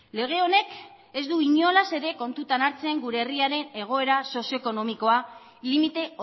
lege honek ez du inolaz ere kontutan hartzen gure herriaren egoera sozioekonomikoa limite